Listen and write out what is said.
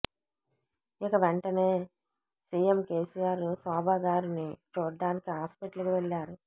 ఇక వెంటనే CM KCR Shobha గారిని చూడటానికి హాస్పిటల్ కి వెళ్లారు